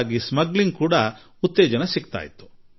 ಆಗ ಕಳ್ಳಸಾಗಾಣಿಕೆಯು ಅಷ್ಟೆ ಹೆಚ್ಚಾಗಿಬಿಡುತ್ತಿತ್ತು